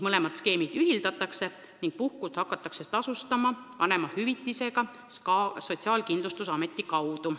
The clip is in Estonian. Skeemid ühildatakse ning puhkust hakatakse tasustama vanemahüvitisega Sotsiaalkindlustusameti kaudu.